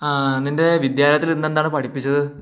അഹാ നിൻ്റെ വിദ്യാലയതിൽ ഇന്നു എന്താണു പഠിപ്പിച്ചതു